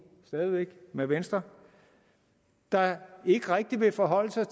med venstre der ikke rigtig vil forholde sig